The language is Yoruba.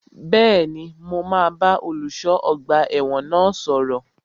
Bẹ́ẹ̀ni, mo máa bá olùṣọ́ ọgbà ẹ̀wọ̀n náà sọ̀rọ̀